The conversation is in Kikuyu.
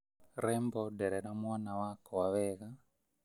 Rembo nderera mwana wakwa wega